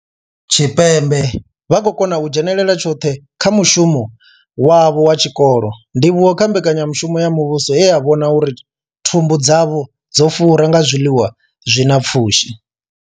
Tshipembe vha khou kona u dzhenela tshoṱhe kha mushumo wavho wa tshikolo, ndivhuwo kha mbekanyamushumo ya muvhuso ye ya vhona uri thumbu dzavho dzo fura nga zwiḽiwa zwi na pfushi.